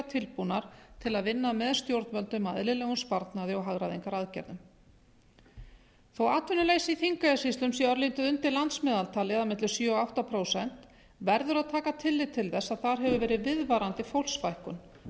tilbúnar til að vinna með stjórnvöldum að eðlilegum sparnaði og hagræðingaraðgerðum þó að atvinnuleysi í þingeyjarsýslum sé örlítið undir landsmeðaltali eða milli sjö og átta prósent verður að taka tillit til þess að þar hefur verið viðvarandi fólksfækkun